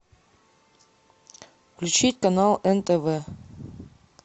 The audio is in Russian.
включить канал нтв